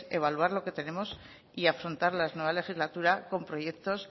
evaluar lo que tenemos y afrontar la nueva legislatura con proyectos